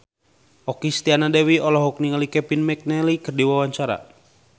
Okky Setiana Dewi olohok ningali Kevin McNally keur diwawancara